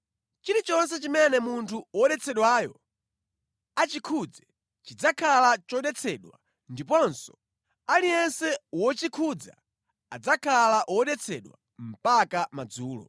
Chilichonse chimene munthu wodetsedwayo achikhudze chidzakhala chodetsedwa ndiponso aliyense wochikhudza adzakhala wodetsedwa mpaka madzulo.”